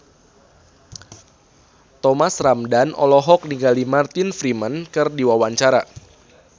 Thomas Ramdhan olohok ningali Martin Freeman keur diwawancara